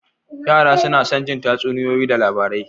Yara suna son jin tatsuniyoyi da labarai.